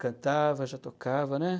Cantava, já tocava, né?